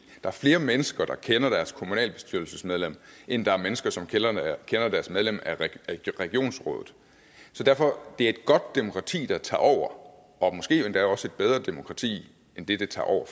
er flere mennesker der kender deres kommunalbestyrelsesmedlem end der er mennesker som kender deres medlem af regionsrådet så derfor er det et godt demokrati der tager over og måske endda også et bedre demokrati end det det tager over